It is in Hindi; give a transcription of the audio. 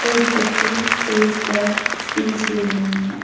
एक बच्ची स्टेज पर स्पीच दे रही है.